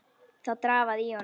Það drafaði í honum.